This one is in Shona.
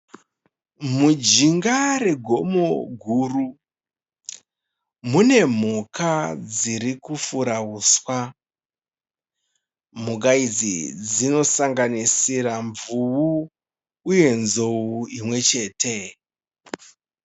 Mujinga regomo guru mune mhuka dzirikufura huswa. Mhuka idzi dzinosanganisira Mvuu uye Nzou imwe chete.